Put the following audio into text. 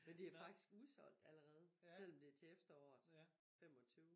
Men det faktisk udsolgt allerede selvom det til efteråret 25